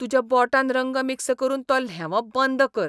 तुज्या बोटान रंग मिक्स करून तो ल्हेंवप बंद कर.